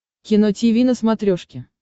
кино тиви на смотрешке